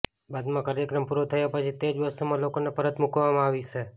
બાદમાં કાર્યક્રમ પુરો થયા પછી તે જ બસોમાં લોકોને પરત મૂકી અવાશે